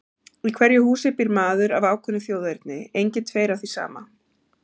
Í hverju húsi býr maður af ákveðnu þjóðerni, engir tveir af því sama.